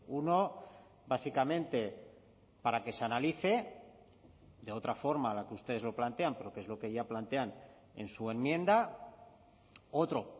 uno básicamente para que se analice de otra forma a la que ustedes lo plantean porque es lo que ya plantean en su enmienda otro